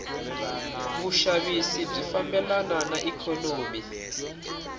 vushavisi bwifambelana naiknonomi